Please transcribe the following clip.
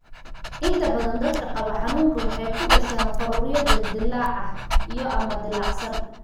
Inta badan dadka qaba xanuunkaan waxay ku dhashaan faruuryo dildilaac ah iyo/ama dilaacsan.